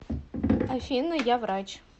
афина я врач